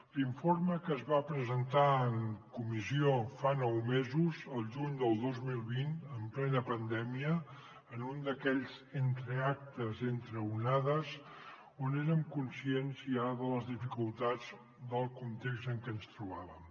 l’informe que es va presentar en comissió fa nou mesos al juny del dos mil vint en plena pandèmia en un d’aquells entreactes entre onades on érem conscients ja de les dificultats del context en què ens trobàvem